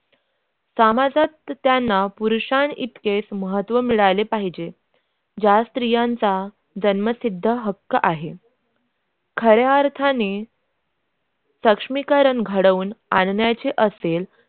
समाजात त्यांना पुरुषांत इतके महत्व मिळाले पाहिजे त्या स्त्रियांच्या जन्मसिद्ध हक्क आहेत खऱ्या अर्थाने सक्षमीकरण घडवून आल्याने. असते